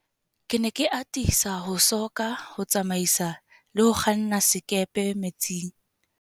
Ke ne ke atisa ho soka ho tsamaisa le ho kganna sekepe metsing.